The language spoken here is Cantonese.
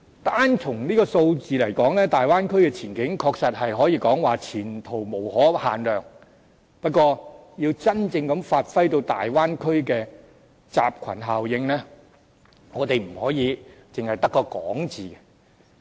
單從數字而言，大灣區的前景確實可以說是前途無可限量，不過，要真正發揮大灣區的集群效應，我們不可只在口頭說說。